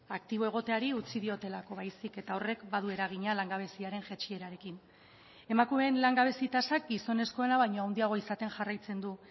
aktibo egoteari utzi diotelako baizik eta horrek badu eragina langabeziaren jaitsierarekin emakumeen langabezi tasak gizonezkoena baino handiagoa izaten jarraitzen du